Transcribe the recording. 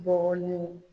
Bɔgɔlen